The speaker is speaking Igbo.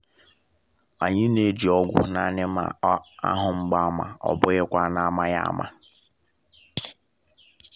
anyị na-eji ọgwụ naanị ma a hụ mgbaàmà ọ um bụghị kwa n’amaghị ama